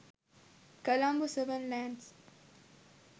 colombo 7 lands